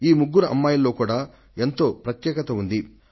ఈ ముగ్గురు అమ్మాయిలు సాధించిన పని ఎంతో ప్రత్యేకతమైంది